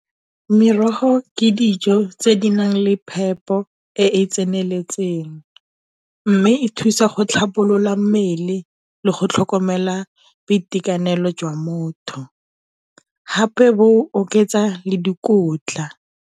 Merogo ke dijo tse di nang le phepo e e tseneletseng, mme e thusa go tlhabolola mmele le go tlhokomela boitekanelo jwa motho, hape bo oketsa le dikotla.